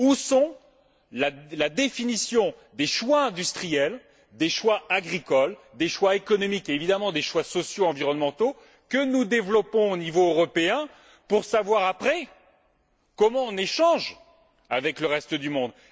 Où est la définition des choix industriels, des choix agricoles, des choix économiques et, évidemment, des choix sociaux et environnementaux que nous développons au niveau européen, pour savoir ensuite comment on échange avec le reste du monde?